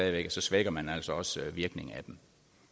at så svækker man altså også virkningen